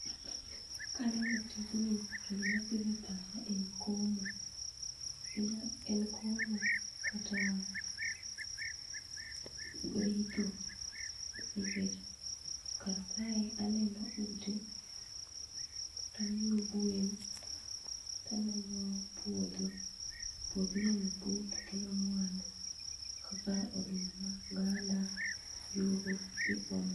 kaneno tijni to gima biro e pacha en komo, en komo kata ritho nikech kar kae aneno ute, taneno gwen taneno puodho ,puodho inyalo pur tokelo mwandu kaka oduma oganda ,njugu gi gik mamoko.